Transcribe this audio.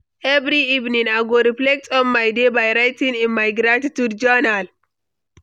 Every evening, I go reflect on my day by writing in my gratitude journal.